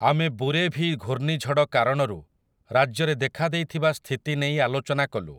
ଆମେ ବୁରେଭି ଘୂର୍ଣ୍ଣିଝଡ଼ କାରଣରୁ ରାଜ୍ୟରେ ଦେଖାଦେଇଥିବା ସ୍ଥିତି ନେଇ ଆଲୋଚନା କଲୁ ।